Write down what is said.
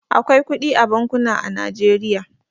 Akwai kudi a bankuna a Najeriya.